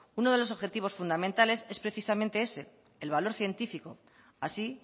uno de los objetivos fundamentales es precisamente ese el valor científico así